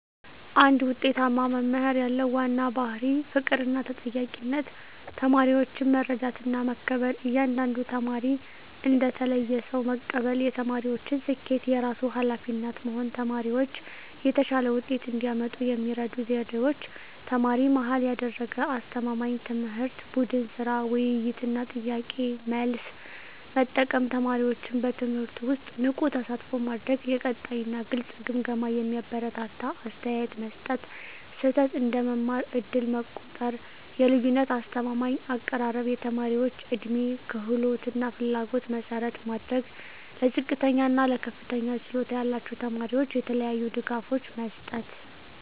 አንድ ውጤታማ መምህር ያለው ዋና ባሕርይ ፍቅርና ተጠያቂነት ተማሪዎችን መረዳትና መከበር እያንዳንዱን ተማሪ እንደ ተለየ ሰው መቀበል የተማሪዎችን ስኬት የራሱ ኃላፊነት መሆን ተማሪዎች የተሻለ ውጤት እንዲያመጡ የሚረዱ ዘዴዎች ተማሪ-መሃል ያደረገ አስተማማኝ ትምህርት ቡድን ሥራ፣ ውይይት እና ጥያቄ–መልስ መጠቀም ተማሪዎችን በትምህርቱ ውስጥ ንቁ ተሳትፎ ማድረግ የቀጣይ እና ግልጽ ግምገማ የሚያበረታታ አስተያየት መስጠት ስህተት እንደ መማር ዕድል መቆጠር የልዩነት አስተማማኝ አቀራረብ የተማሪዎች ዕድሜ፣ ክህሎት እና ፍላጎት መሠረት ማድረግ ለዝቅተኛ እና ለከፍተኛ ችሎታ ያላቸው ተማሪዎች የተለያዩ ድጋፎች መስጠት